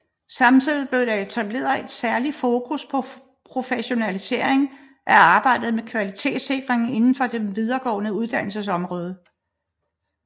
Samtidig blev der etableret et særskilt fokus på professionalisering af arbejdet med kvalitetssikring inden for det videregående uddannelsesområde